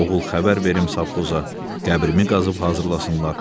Oğul xəbər verim savxoza, qəbrimi qazıb hazırlasınlar.